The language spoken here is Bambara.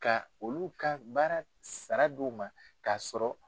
Ka olu ka baara sara di u ma k'a sɔrɔ.